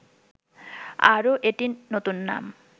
আরও এটি নতুন নাম